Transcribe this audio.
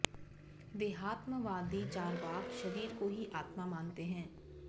देहात्मवादी चार्वाक शरीर को ही आत्मा मानते हैं